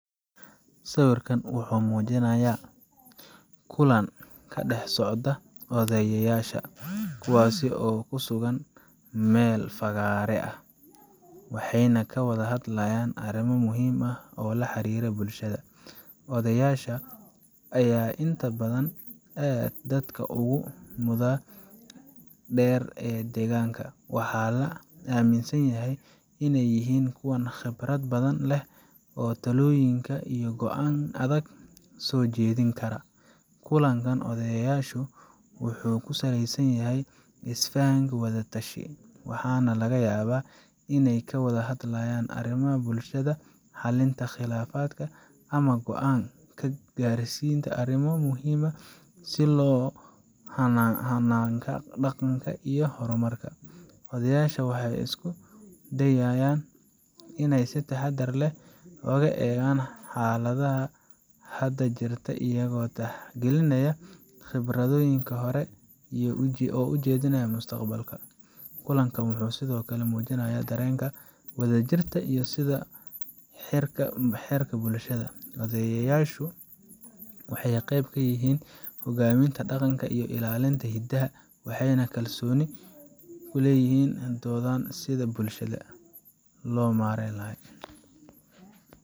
Sawirkan wuxuu muujinayaa kulan ka dhex socda odayayasha, kuwaas oo ku sugan meel fagaare ah, waxayna ka wada hadlayaan arrimo muhiim ah oo la xiriira bulshada. Odayaasha ayaa inta badan ah dadka ugu mudada dheer ee deegaanka, waxaana la aaminsan yahay inay yihiin kuwa khibrad badan leh oo talooyin iyo go’aan adag soo jeedin kara. Kulanka odayaashu wuxuu ku saleysan yahay is faham iyo wada tashi, waxaana laga yaabaa inay ka wada hadlayaan arrimaha bulshada, xalinta khilaafaadka, ama go’aan ka gaarista arrimo muhiim ah sida hannaanka dhaqanka iyo horumarka. Odayaasha waxay isku dayayaan inay si taxadar leh u eegaan xaaladda hadda jirta, iyagoo tixgelinaya khibradooda hore iyo ujeedinaya mustaqbalka. Kulankan wuxuu sidoo kale muujinayaa dareenka wadajirka iyo isku xirka bulshada. Odayaashu waxay qayb ka yihiin hogaaminta dhaqanka iyo ilaalinta hiddaha, waxayna si kalsooni u leeyihin sida bulhsada loo naren laha.